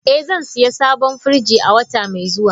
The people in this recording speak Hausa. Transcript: Eh, zan sayi sabon firji wata mai zuwa.